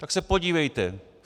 Tak se podívejte.